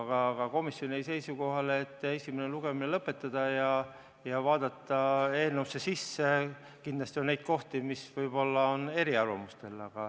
Aga komisjon jäi seisukohale, et esimene lugemine lõpetada ja vaadata eelnõusse sisse, sest kindlasti on neid kohti, kus võib-olla ollakse eri arvamustel.